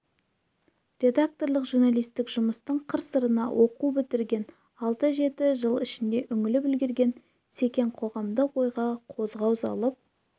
редакторлық журналистік жұмыстың қыр-сырына оқу бітірген алты-жеті жыл ішінде үңіліп үлгерген секең қоғамдық ойға қозғау салып